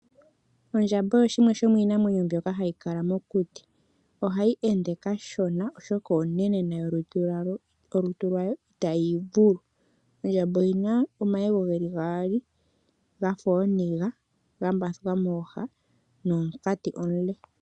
Ondjamba osho shimwe shomiinamwenyo mbyoka hayi kala mokuti. Ohayi ende kashona oshoka onene molutu lwayo, molutu lwayo ita yi ivulu. Ondjamba oyina omayego geli gaali gafa ooniga, ga mbathuka mooha nomunkati omule.